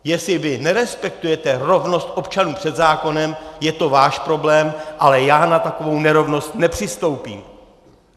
Jestli vy nerespektujete rovnost občanů před zákonem, je to váš problém, ale já na takovou nerovnost nepřistoupím.